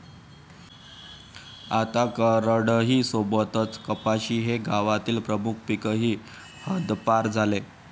आता करडई सोबतच कपाशी हे गावातील प्रमुख पीकही हद्दपार झाले.